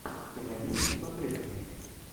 ты найдешь у себя трейлер